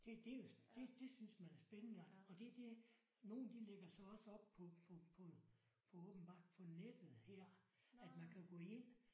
Det det jo det det synes man er spændende og det er det nogle de lægger så også op på på på på åbenbart på nettet her at man kan gå ind